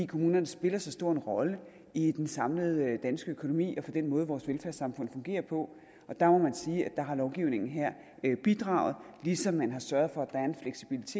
kommunerne spiller så stor en rolle i den samlede danske økonomi og for den måde vores velfærdssamfund fungerer på der må man sige at der har lovgivningen her bidraget ligesom man har sørget for